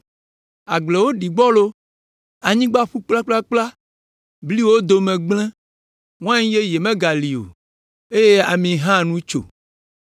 Agblewo ɖi gbɔlo, anyigba ƒu kplakplakpla, bliwo dome gblẽ, wain yeye megali o, eye ami hã nu tso.